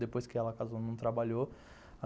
Depois que ela casou, não trabalhou.